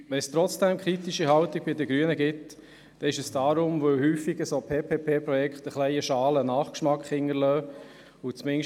Wenn es trotzdem kritische Haltungen bei den Grünen gibt, dann deshalb, weil PPP-Projekte häufig einen schalen Nachgeschmack hinterlassen.